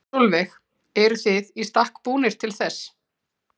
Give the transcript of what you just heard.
Sólveig: Eruð þið í stakk búnir til þess?